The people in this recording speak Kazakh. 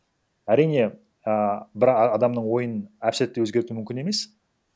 әрине а бір адамның ойын әп сәтте өзгерту мүмкін емес